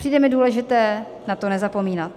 Přijde mi důležité na to nezapomínat.